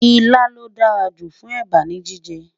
ìlà ló dá jù fún èbá ní jíjẹ